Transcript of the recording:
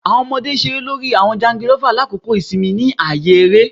Awọn ọmọde ṣere lori awọn jangilova lakoko isinmi ni aaye ere